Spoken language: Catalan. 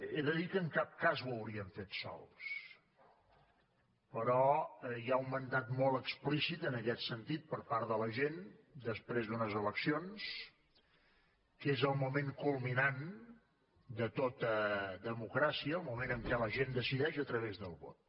he de dir que en cap cas ho hauríem fet sols però hi ha un mandat molt explícit en aquest sentit per part de la gent després d’unes eleccions que és el moment culminant de tota democràcia el moment en què la gent decideix a través del vot